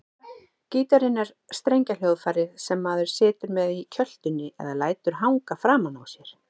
Gítarinn er strengjahljóðfæri sem maður situr með í kjöltunni eða lætur hanga framan á sér.